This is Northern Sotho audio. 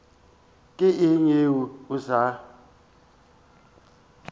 ke eng yeo a sa